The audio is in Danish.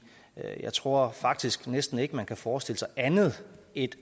jeg tror faktisk næsten ikke man kan forestille sig andet end